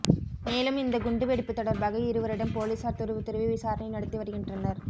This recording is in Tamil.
மேலும் இந்த குண்டு வெடிப்பு தொடர்பாக இருவரிடம் போலீசார் துருவித் துருவி விசாரணை நடத்தி வருகின்றனர்